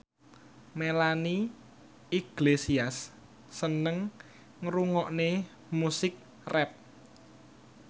Melanie Iglesias seneng ngrungokne musik rap